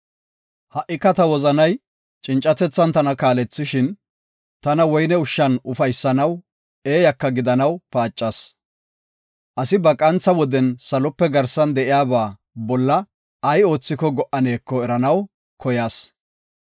Ha7ika ta wozanay cincatethan tana kaalethishin, tana woyne ushshan ufaysanaw, eeyaka gidanaw paacas. Asi ba qantha woden salope garsan de7iyaba bolla ay oothiko go77aneko eranaw koyas.